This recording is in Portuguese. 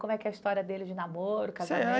Como é que é a história deles de namoro, casamento?